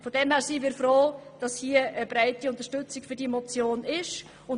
Deshalb sind wir froh, hier eine breite Unterstützung für diese Motion zu finden.